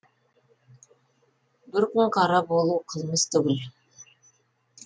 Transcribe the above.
бір күн қара болу қылмыс түгіл